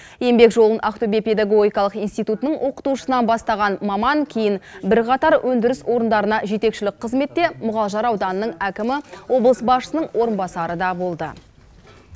еңбек жолын ақтөбе педагогикалық институтының оқытушысынан бастаған маман кейін бірқатар өндіріс орындарына жетекшілік қызметте мұғалжар ауданының әкімі облыс басшысының орынбасары да болды